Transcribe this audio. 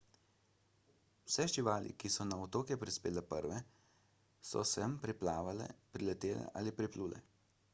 vse živali ki so na otoke prispele prve so sem priplavale priletele ali priplule